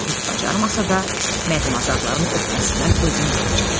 Vahid bacarmasa da, mərdməzarların öhdəsindən özüm gələcəyəm.